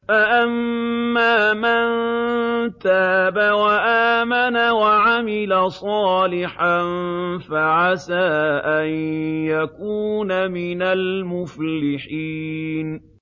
فَأَمَّا مَن تَابَ وَآمَنَ وَعَمِلَ صَالِحًا فَعَسَىٰ أَن يَكُونَ مِنَ الْمُفْلِحِينَ